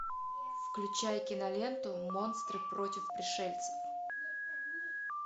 включай киноленту монстры против пришельцев